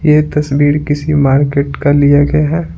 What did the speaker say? यह तस्वीर किसी मार्केट का लिया गया है।